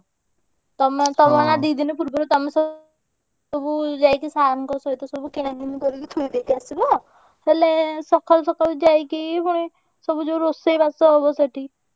ତମେ ତମେ ଦି ଦିନି ପୂର୍ବରୁ ତମେ ସବୁ ସବୁ ଯାଇକି sir ଙ୍କ ସହିତ ସବୁ କିଣାକିଣି କରିକି ଥୋଇଦେଇକି ଆସିବ। ହେଲେ ସକାଳୁ ସକାଳୁ ଯାଇକି ପୁଣି ସବୁ ଯୋଉ ରୋଷେଇ ବାସ ହବ ସେଠି